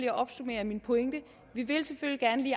at opsummere min pointe